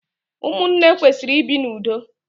Ụmụnne kwesịrị ibi n'ụdo